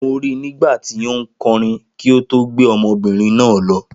Mo ri nígbàtí ó nkorin kí o tó gbé ọmọbìnrin náà lọ